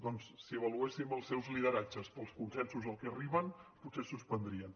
doncs si avaluéssim els seus lideratges pels consensos als que arriben potser suspendrien